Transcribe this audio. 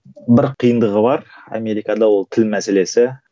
бір қиындығы бар америкада ол тіл мәселесі